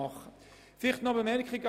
Noch eine Anmerkung an Grossrat